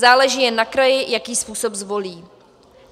Záleží jen na kraji, jaký způsob zvolí.